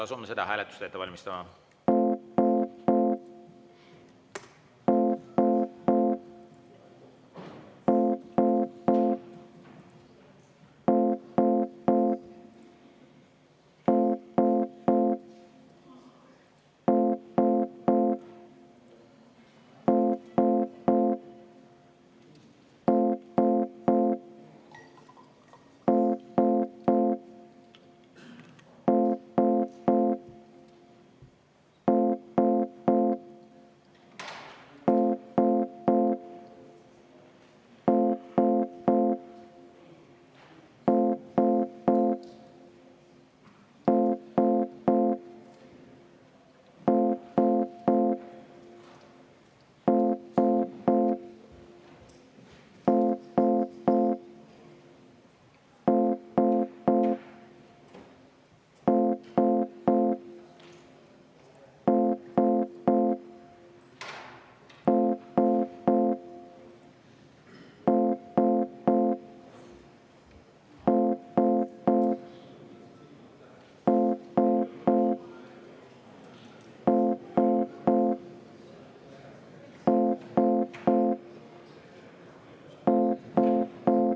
Asume seda hääletust ette valmistama.